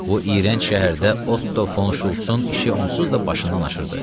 Bu iyrənc şəhərdə Otto Fon Şultsın işi onsuz da başından aşırdı.